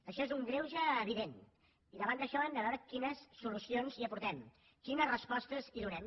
això és un greuge evident i davant d’això hem de veure quines solucions hi aportem quines respostes hi donem